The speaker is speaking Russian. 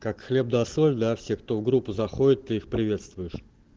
как хлеб да соль для всех кто в группу заходит ты их приветствуешь